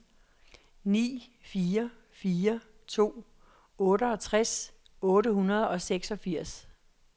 ni fire fire to otteogtres otte hundrede og seksogfirs